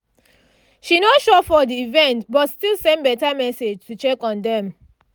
she no show for the event but still send better message to check on dem